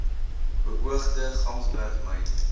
beoogde gamsberg myn